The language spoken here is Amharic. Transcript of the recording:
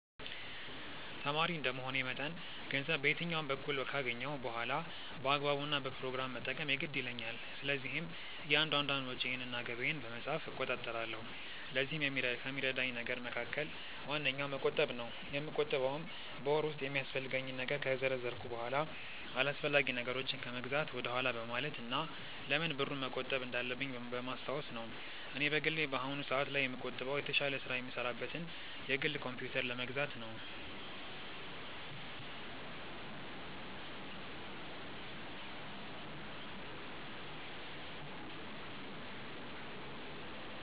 ተማሪ እንደመሆኔ መጠን ገንዘብ በየትኛውም በኩል ካገኘሁ በኋላ በአግባቡ እና በፕሮግራም መጠቀም የግድ ይለኛል። ስለዚህም እያንዳንዷን ወጪዬን እና ገቢዬን በመጻፍ እቆጣጠራለሁ። ለዚህም ከሚረዳኝ ነገር መካከል ዋነኛው መቆጠብ ነው። የምቆጥበውም በወር ውስጥ የሚያስፈልገኝን ነገር ከዘረዘርኩ በኋላ አላስፈላጊ ነገሮችን ከመግዛት ወደኋላ በማለት እና ለምን ብሩን መቆጠብ እንዳለብኝ በማስታወስ ነው። እኔ በግሌ በአሁኑ ሰአት ላይ የምቆጥበው የተሻለ ስራ የምሰራበትን የግል ኮምፕዩተር ለመግዛት ነው።